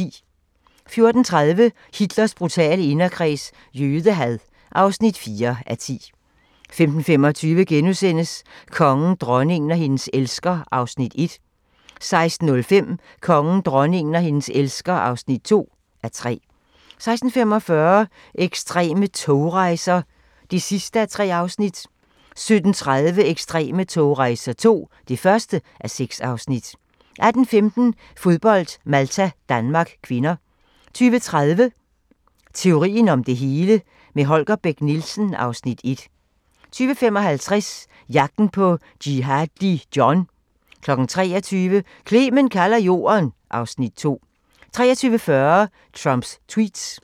14:30: Hitlers brutale inderkreds – jødehad (4:10) 15:25: Kongen, dronningen og hendes elsker (1:3)* 16:05: Kongen, dronningen og hendes elsker (2:3) 16:45: Ekstreme togrejser (3:3) 17:30: Ekstreme togrejser II (1:6) 18:15: Fodbold: Malta-Danmark (k) 20:30: Teorien om det hele - med Holger Bech Nielsen (Afs. 1) 20:55: Jagten på Jihadi John 23:00: Clement kalder Jorden (Afs. 2) 23:40: Trumps tweets